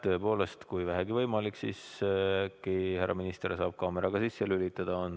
Tõepoolest, kui vähegi võimalik, äkki härra minister saab kaamera sisse lülitada.